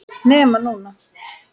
NEMA NÚNA!!!